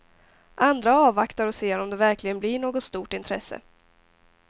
Andra avvaktar och ser om det verkligen blir något stort intresse.